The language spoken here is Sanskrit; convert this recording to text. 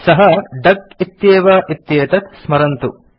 सः डक इत्येव इत्येतत् स्मरन्तु